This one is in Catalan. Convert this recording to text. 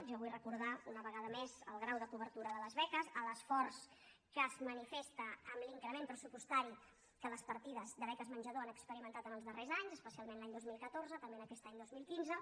jo vull recordar una vegada més el grau de cobertura de les beques l’esforç que es manifesta amb l’increment pressupostari que les partides de beques menjador han experimentat els darrers anys especialment l’any dos mil catorze també aquest any dos mil quinze